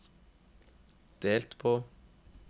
delt på